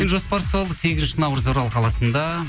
жоспар сол сегізінші наурыз орал қаласында